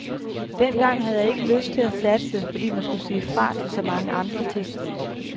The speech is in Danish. Dengang havde jeg ikke lyst til at satse, fordi man skulle sige fra til så mange andre ting.